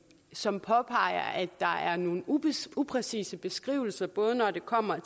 som påpeger at der er nogle upræcise upræcise beskrivelser både når det kommer